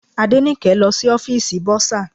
Adenike lọ sí ọ́fìsì bursar.